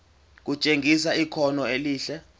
kutshengisa ikhono elihle